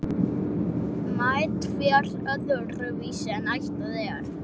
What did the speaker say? Margt fer öðruvísi en ætlað er.